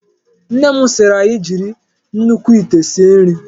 Nne m sịịrị anyị jiri nnukwu ite sie nri.